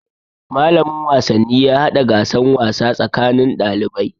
Malamin wasanni ya hada gasan wasa tsakanin ɗalibai.